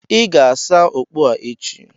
Ị ga-asa okpu a echi.